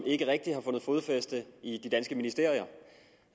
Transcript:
ikke rigtig har fundet fodfæste i de danske ministerier